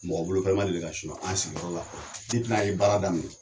Mɔgɔ bolofɛn ma deli ka suɲɛn an sigiyɔrɔ fɔlɔ depi n'an ye baara daminɛ